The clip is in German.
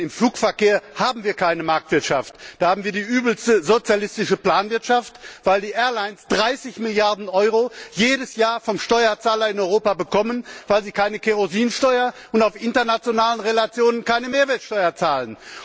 Denn im Flugverkehr haben wir keine Marktwirtschaft, da haben wir die übelste sozialistische Planwirtschaft, weil die Airlines jedes Jahr 30 Milliarden Euro vom Steuerzahler in Europa bekommen, weil sie keine Kerosinsteuer und auf internationalen Verbindungen keine Mehrwertsteuer zahlen.